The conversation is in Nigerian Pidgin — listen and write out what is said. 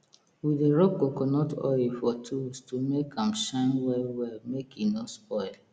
we dey rub coconut oil for tools to make am shine well well make e no spoil